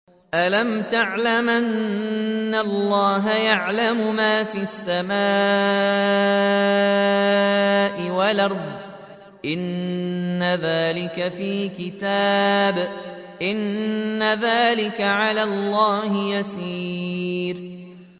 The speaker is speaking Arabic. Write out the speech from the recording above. أَلَمْ تَعْلَمْ أَنَّ اللَّهَ يَعْلَمُ مَا فِي السَّمَاءِ وَالْأَرْضِ ۗ إِنَّ ذَٰلِكَ فِي كِتَابٍ ۚ إِنَّ ذَٰلِكَ عَلَى اللَّهِ يَسِيرٌ